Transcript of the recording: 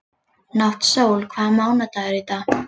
Náttsól, hvaða mánaðardagur er í dag?